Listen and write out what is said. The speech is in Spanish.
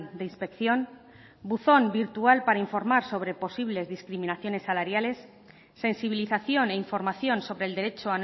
de inspección buzón virtual para informar sobre posibles discriminaciones salariales sensibilización e información sobre el derecho